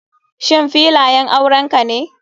Shin filayan aurenka ne.